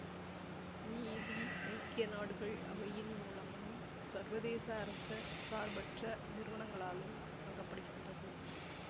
மீதி ஐக்கிய நாடுகள் அவையின் மூலமும் சர்வதேச அரச சார்பற்ற நிறுவனங்களாலும் வழங்கப்படுகின்றது